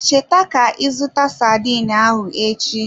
Cheta ka ị zụta sardine ahụ echi.